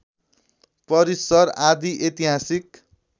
परिसर आदि ऐतिहासिक